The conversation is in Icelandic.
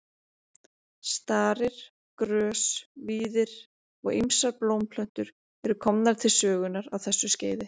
Starir, grös, víðir og ýmsar blómplöntur eru komnar til sögunnar á þessu skeiði.